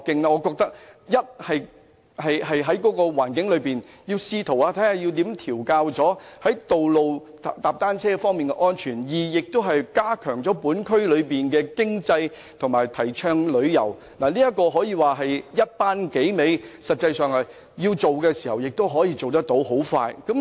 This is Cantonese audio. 我認為這樣一方面既能調控在道路環境踏單車的安全，而另一方面亦能加強區內經濟及提倡旅遊，可說是一舉數得，而實際上如要推行，亦能很快成事。